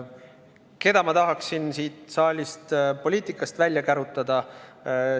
Keda ma tahaksin siit saalist, poliitikast välja kärutada?